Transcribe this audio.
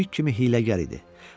O pişik kimi hiyləgər idi.